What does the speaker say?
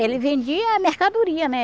Ele vendia mercadoria, né?